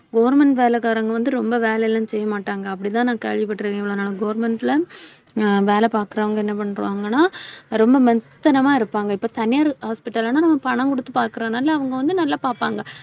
government வேலைக்காரங்க வந்து ரொம்ப வேலை எல்லாம் செய்ய மாட்டாங்க அப்படித்தான் நான் கேள்விப்பட்டிருக்கேன், இவ்வளவு நாள். government ல அஹ் வேலை பாக்குறவங்க என்ன பண்றாங்கன்னா ரொம்ப மெத்தனமா இருப்பாங்க. இப்ப தனியார் hospital லன்னா நம்ம பணம் குடுத்து பாக்குறதுனால அவங்க வந்து, நல்லா பார்ப்பாங்க.